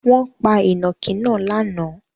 Wọn pa ìnàkí náà lánàá?